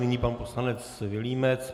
Nyní pan poslanec Vilímec.